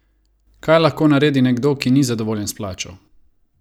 Kaj lahko naredi nekdo, ki ni zadovoljen s plačo?